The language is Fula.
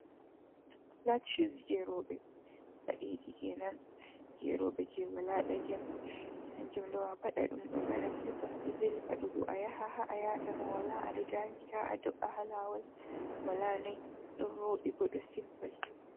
Flat shus je roɓɓe padeji kenan je roɓɓe je wala ɗagel hanjum ɗo afadadum ɗo baba silpas ɗo vely paɗugo a yaha ha’a yatama wala aɗo dami ta a do’a ha Lawol, wala noi ɗon voɗɗi bo ɗo simple.